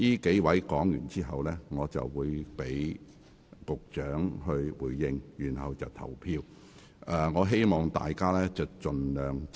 在上述議員發言後，我會讓局長發言回應，然後進行表決。